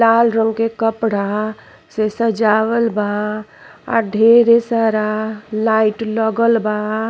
लाल रंग के कपड़ा से सजावल बा आ ढेर सारा लाइट लगल बा।